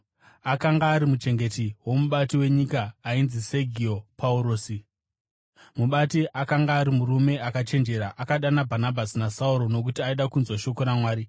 akanga ari muchengeti womubati wenyika ainzi Segio Paurusi. Mubati akanga ari murume akachenjera, akadana Bhanabhasi naSauro nokuti aida kunzwa shoko raMwari.